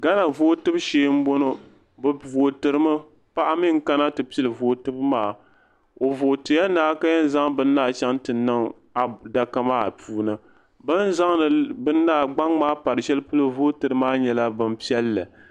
Gana vootibu shee n bɔŋo bi vootiri mi paɣa mi n pili vootibu maa o vootiya naayi ka yɛn zaŋ bini maa chaŋ ti niŋ adaka maa puuni bin zaŋdi gbaŋ maa pari sheli polo vootiri maa nyɛla bin piɛlli.